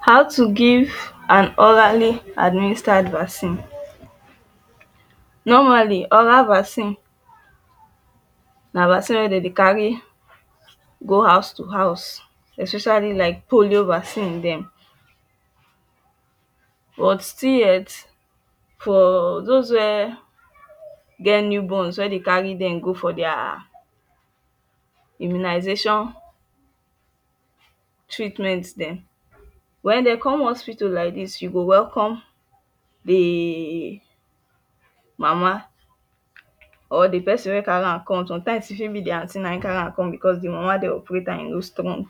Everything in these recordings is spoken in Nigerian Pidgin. How to give an orally administered vaccine normally oral vaccine na vaccine wey dem dey carry go house to house especially like polio vaccine dem but still yet for doz wey get new borns wey dey carry dem go for dia immunisation treatment dem wen dem com hospital like dis you go welcome de mama or de person wey carry am com somtimes e fit be dia aunty na him carry am com because de mama dey operate am and e no strong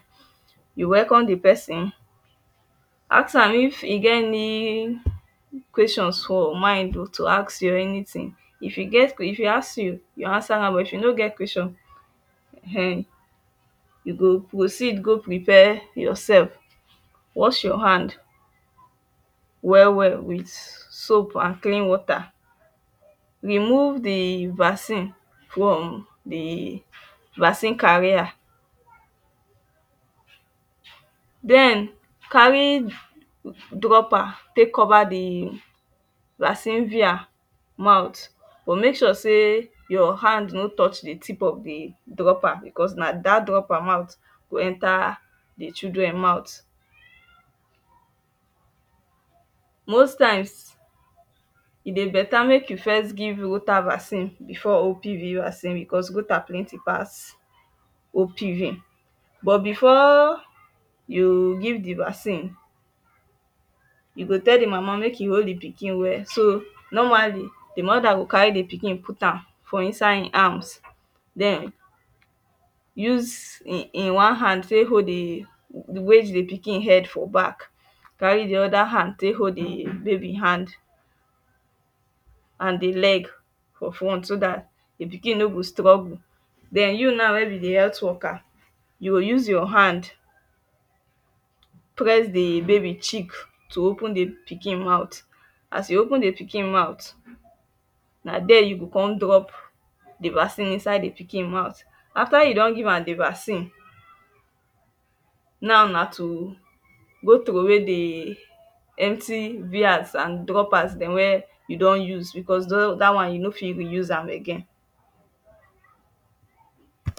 you welcome de person ask am if e get any questions for mind to ask you are anytin if e get ques if e ask you you answer am but if e no get question[um]you go proceed go prepare yoursef wash your hand well well wit soap an clean wata remove de vaccine from de vaccine carrier carry dropper tek cover de vaccine vr mouth but mek sure say your hand no touch de tip of de dropper because na dat dropper mout go enta de children mout most times e dey beta mek you first give fluta Vaccine before Because. Plenty pass But before you give the vaccine you go tell the mama make e hold the pikin well so normally moda go carry the pikin put am for inside him arms then use hin one hand take hold the wage the pikin head for back carry the other hand baby hand an de leg for front so dat de pikin no go struggle den you now wey be de healt worker you go use your hand press the baby chick to open the pikin mouth as you open the pikin mouth na there you go come drop the vaccine inside the pikin mouth after you don give am the vaccine now na to go trow way de empty dem wey you don use because dat one you no fit use am again